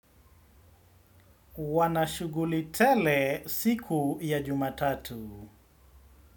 Wana shughuli tele siku ya Jumatatu.